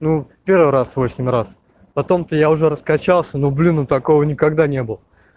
ну в первый раз восемь раз потом то я уже раскачался ну блин ну такого никогда не было